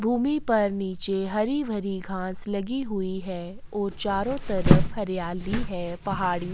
भूमि पर नीचे हरी - भरी घास लगी हुई हैं और चारो तरफ़ हरियाली है पहाड़ी --